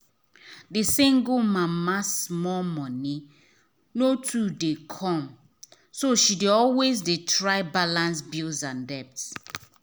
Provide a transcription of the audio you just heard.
the single mama small money no too dey come so she dey always dey try balance bills and debt.